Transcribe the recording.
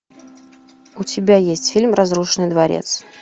у тебя есть фильм разрушенный дворец